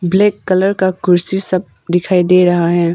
Black colour का कुर्सी सब दिखाई दे रहा है।